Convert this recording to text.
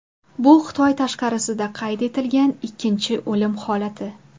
Bu Xitoy tashqarisida qayd etilgan ikkinchi o‘lim holati.